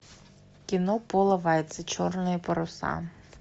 кино пола вайца черные паруса